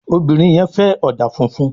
Obìrin yen fè òdà fúnfún